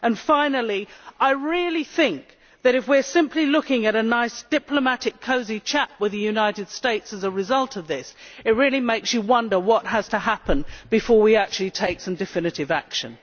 Finally, I really think that if we are simply looking at a nice diplomatic, cosy chat with the United States as a result of this, it makes you wonder what has to happen before we actually take some definitive action.